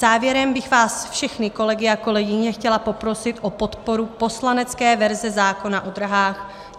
Závěrem bych vás všechny, kolegyně a kolegové, chtěla poprosit o podporu poslanecké verze zákona o dráhách.